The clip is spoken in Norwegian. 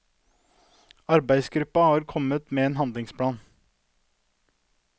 Arbeidsgruppen har kommet med en handlingsplan.